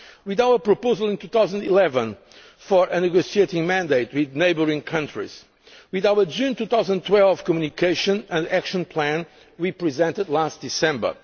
with our proposal in 2011 for a negotiating mandate with neighbouring countries with our June 2012 Communication and the Action Plan we presented last December